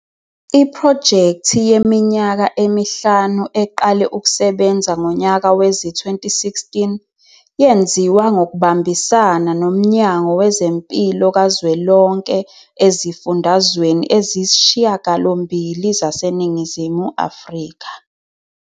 Iphrojekthi yeminyaka emihlanu, eqale ukusebenza ngonyaka wezi-2016, yenziwa ngokubambisana noMnyango Wezempilo Kazwelonke ezifundazweni eziyisishiyagalombili zaseNingizimu Afrika.